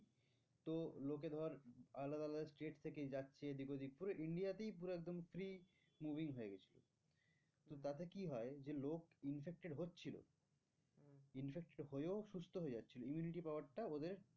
তো লোকে ধর আলাদা আলাদা state থেকে যাচ্ছে এদিক ওদিক করে India তেই পুরো একদম হয়ে গিয়েছিলো তো তাতে কি হয় যে লোক infected হচ্ছিলো উম infected হয়েও সুস্থ হয়ে যাচ্ছিল immunity power টা ওদের